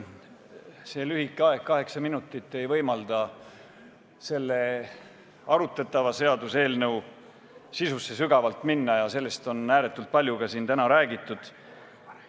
See lühike aeg, kaheksa minutit, ei võimalda arutatava seaduseelnõu sisusse sügavuti minna ja sellest eelnõust on ääretult palju siin täna ka juba räägitud.